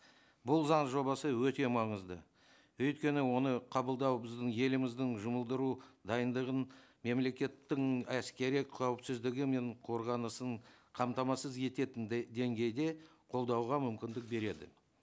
бұл заң жобасы өте маңызды өйткені оны қабылдау біздің еліміздің жұмылдыру дайындығын мемлекеттің әскери қауіпсізідгі мен қорғанысын қамтамасыз ететін деңгейде қолдауға мүмкіндік береді